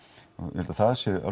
ég held að það sé